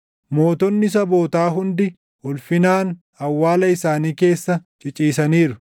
Mootonni sabootaa hundi, ulfinaan awwaala isaanii keessa ciciisaniiru.